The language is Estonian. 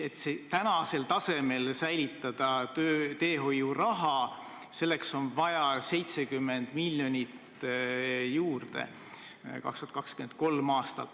Et tänasel tasemel säilitada teehoiuraha, selleks on vaja 2023. aastal 70 miljonit juurde.